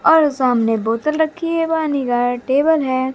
और सामने बोतल रखी है व नीला टेबल है।